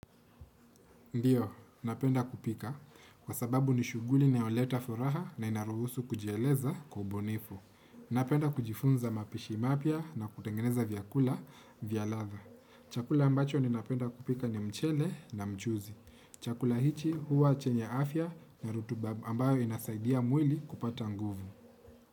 Ndio, napenda kupika kwa sababu ni shuguli naoleta furaha na inaruhusu kujieleza kwa ubunifu. Napenda kujifunza mapishi mapya na kutengeneza vyakula, vya latha. Chakula ambacho ni napenda kupika ni mchele na mchuzi. Chakula hichi huwa chenye afya na ritiba ambayo inasaidia mwili kupata nguvu.